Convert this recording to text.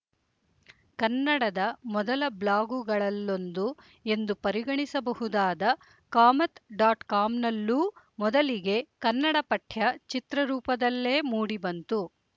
ಕನ್ನಡದ ಮೊದಲ ಬ್ಲಾಗುಗಳಲ್ಲೊಂದು ಎಂದು ಪರಿಗಣಿಸಬಹುದಾದ ಕಾಮತ್ ಡಾಟ್ ಕಾಮ್‍ನಲ್ಲೂ ಮೊದಲಿಗೆ ಕನ್ನಡ ಪಠ್ಯ ಚಿತ್ರರೂಪದಲ್ಲೇ ಮೂಡಿಬಂತು